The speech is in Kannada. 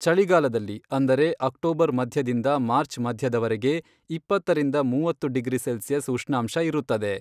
ಚಳಿಗಾಲದಲ್ಲಿ, ಅಂದರೆ ಅಕ್ಟೋಬರ್ ಮಧ್ಯದಿಂದ ಮಾರ್ಚ್ ಮಧ್ಯದವರೆಗೆ, ಇಪ್ಪತ್ತರಿಂದ ಮೂವತ್ತು ಡಿಗ್ರಿ ಸೆಲ್ಸಿಯಸ್ ಉಷ್ಣಾಂಶ ಇರುತ್ತದೆ.